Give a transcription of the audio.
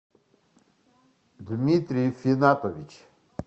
дмитрий финатович